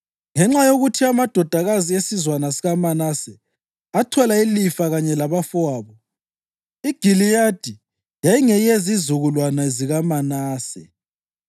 ngenxa yokuthi amadodakazi esizwana sikaManase athola ilifa kanye labafowabo. IGiliyadi yayingeyezizukulwana zikaManase.